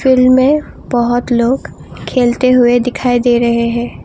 Field में बहुत लोग खेलते हुए दिखाई दे रहे हैं।